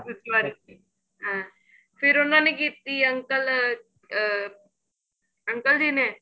ਦੂਸਰੀ ਵਾਰੀ ਹਾਂ ਫੇਰ ਉਹਨਾ ਨੇ ਕੀਤੀ uncle ਅਹ uncle ਜੀ ਨੇ